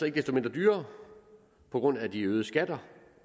ikke desto mindre dyrere på grund af de øgede skatter